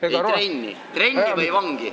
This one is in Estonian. Ei, trenni, lähed trenni või vangi.